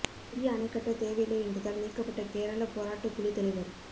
புதிய அணை கட்டத் தேவையில்லை என்றதால் நீக்கப்பட்ட கேரள போராட்டக் குழுத் தலைவர்